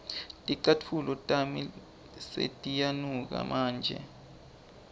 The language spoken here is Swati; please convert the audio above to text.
ticatfulo tami setiyanuka manje